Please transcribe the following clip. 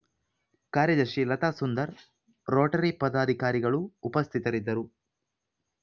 ಕಾರ್ಯದರ್ಶಿ ಲತಾಸುಂದರ್ ರೋಟರಿ ಪದಾಧಿಕಾರಿಗಳು ಉಪಸ್ಥಿತರಿದ್ದರು